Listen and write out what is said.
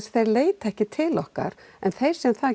þau leita ekki til okkar en þau sem það